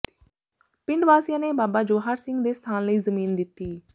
ਪਿੰਡ ਵਾਸੀਆਂ ਨੇ ਬਾਬਾ ਜਵਾਹਰ ਸਿੰਘ ਦੇ ਸਥਾਨ ਲਈ ਜ਼ਮੀਨ ਦਿੱਤੀ